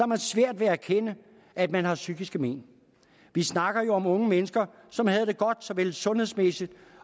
man svært ved at erkende at man har psykiske men vi snakker jo om unge mennesker som havde det godt såvel sundhedsmæssigt